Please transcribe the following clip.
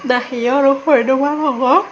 na he or o hoi nobarongor.